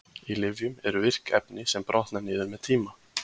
Í lyfjum eru virk efni sem brotna niður með tíma.